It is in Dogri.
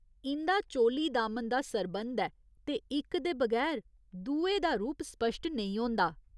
इं'दा चोली दामन दा सरंबध ऐ ते इक दे बगैर दुए दा रूप स्पश्ट नेईं होंदा।